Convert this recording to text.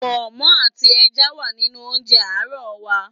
Pọ̀nmọ́ àti ẹja wà nínú oúnjẹ àárọ̀ wa.